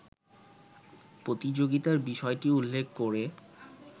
প্রতিযোগিতার বিষয়টি উল্লেখ করে